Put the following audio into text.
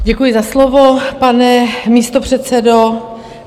Děkuji za slovo, pane místopředsedo.